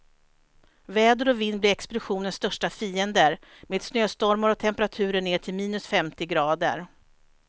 Väder och vind blir expeditionens största fiender, med snöstormar och temperaturer ner till minus femtio grader.